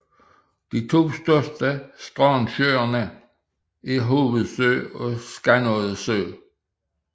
De to største strandsøer er Hovedsø og Skanodde Sø